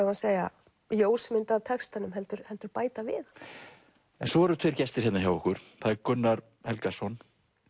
við að segja ljósmynd af textanum heldur heldur bæta við hann svo eru tveir gestir hérna hjá okkur Gunnar Helgason